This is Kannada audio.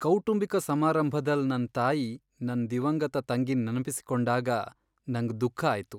ಕೌಟುಂಬಿಕ ಸಮಾರಂಭದಲ್ ನನ್ ತಾಯಿ ನನ್ ದಿವಂಗತ ತಂಗಿನ್ ನೆನಪಿಸಿಕೊಂಡಾಗ ನಂಗ್ ದುಃಖ ಆಯ್ತು.